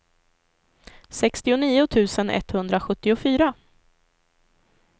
sextionio tusen etthundrasjuttiofyra